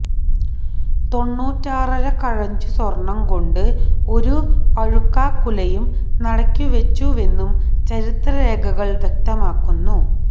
തൊണ്ണൂറ്റാറര കഴഞ്ചു സ്വര്ണ്ണം കൊണ്ട് ഒരു പഴുക്കാക്കുലയും നടയ്ക്കുവെച്ചുവെന്നും ചരിത്രരേഖകള് വ്യക്തമാക്കുന്നു